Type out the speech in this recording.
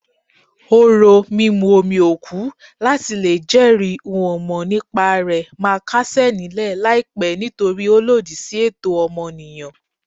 Orò mímú omi òkú láti lè jẹ́rìí n-ò-mọ̀-nípa-rẹ̀ máa kásẹ̀ nílẹ̀ láìpẹ́ nítorí ó lòdì sí ẹ̀tọ́ ọmọnìyàn.